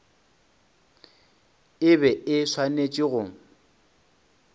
e be e swanetše go